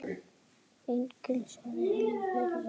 Enginn sagði henni fyrir verkum.